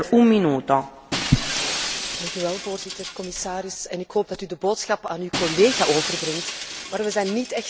Voorzitter, commissaris, ik hoop dat u de boodschap aan uw collega overbrengt, maar we zijn niet echt tevreden met uw antwoord hier.